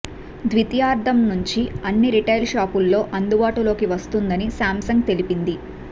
ద్వితీయార్ధం నుంచి అన్ని రిటైల్ షాపుల్లో అందుబాటులోకి వస్తుందని సామ్సంగ్ తెలిపింది